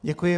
Děkuji.